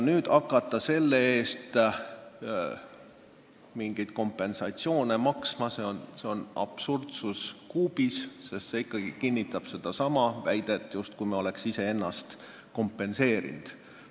Nüüd hakata selle eest mingit kompensatsiooni maksma – see on absurdsus kuubis, sest seegi kinnitab sedasama väidet, justkui me oleks iseennast okupeerinud.